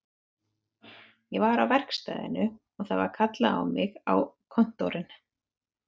Ég var á verkstæðinu og það var kallað á mig á kontórinn